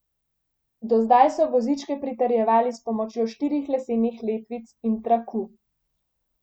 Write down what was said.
Do zdaj so vozičke pritrjevali s pomočjo štirih lesenih letvic in traku.